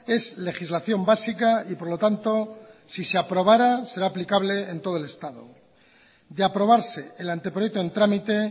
es legislación básica y por lo tanto si se aprobará será aplicable en todo el estado de aprobarse el anteproyecto en trámite